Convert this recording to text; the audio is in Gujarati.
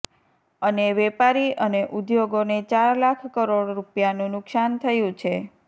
અને વેપારી અને ઉદ્યોગોને ચાર લાખ કરોડ રૂપિયાનું નુકસાન થયું છે